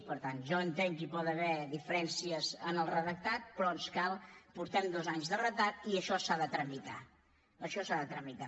per tant jo entenc que hi pot haver diferències en el redactat però ens cal anem amb dos anys de retard i això s’ha de tramitar això s’ha de tramitar